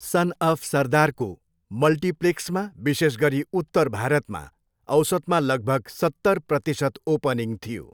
सन of सरदारको मल्टिप्लेक्समा, विशेष गरी उत्तर भारतमा औसतमा लगभग सत्तर प्रतिशत ओपनिङ थियो।